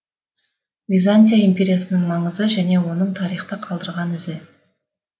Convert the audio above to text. византия империясының маңызы және оның тарихта қалдырған ізі